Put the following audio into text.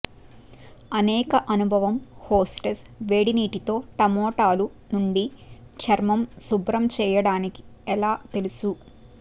అనేక అనుభవం హోస్టెస్ వేడి నీటి తో టమోటాలు నుండి చర్మం శుభ్రం చేయడానికి ఎలా తెలుసు